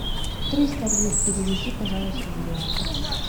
триста лир переведи пожалуйста в юани